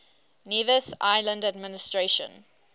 nevis island administration